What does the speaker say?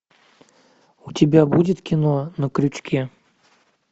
у тебя будет кино на крючке